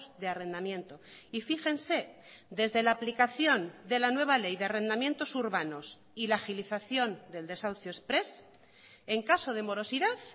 de arrendamiento y fíjense desde la aplicación de la nueva ley de arrendamientos urbanos y la agilización del desahucio exprés en caso de morosidad